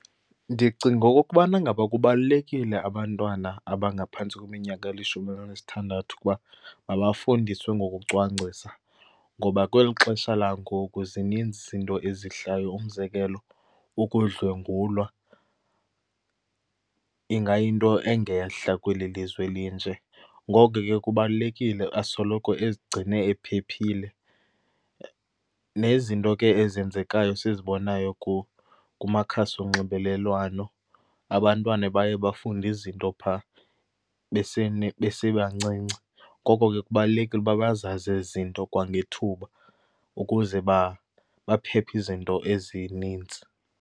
Ndicinga okokubana ngaba kubalulekile abantwana abangaphantsi kweminyaka elishumi elinesithandathu ukuba mabafundiswe ngokucwangcisa, ngoba kweli xesha langoku zininzi izinto ezihlayo. Umzekelo, ukudlwengulwa ingayinto engehla kweli lizwe elinje. Ngoko ke kubalulekile asoloko ezigcine ephephile. Nezinto ke ezenzekayo esizibonayo kumakhasi onxibelelwano, abantwana baye bafunde izinto phaa besebancinci. Ngoko ke kubalulekile uba bazazi ezi zinto kwangethuba ukuze baphephe izinto ezinintsi.